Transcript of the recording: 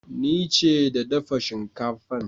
Ni ce da dafa shinkafan.